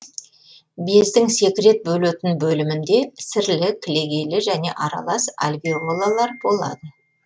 бездің секрет бөлетін бөлімінде сірлі кілегейлі және аралас альвеолалар болады